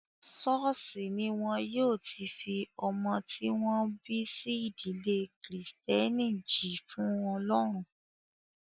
Ṣọ́ọ̀ṣì ní wọn yóò ti fi ọmọ tí wọ́n bí sí ìdílé kìrìtẹ́nì jì fún ọlọ́run.